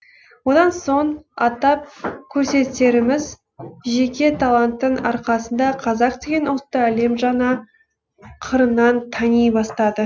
одан соң атап көрсетеріміз жеке таланттың арқасында қазақ деген ұлтты әлем жаңа қырынан тани бастады